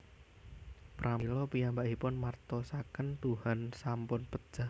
Pramila piyambakipun martosaken Tuhan sampun pejah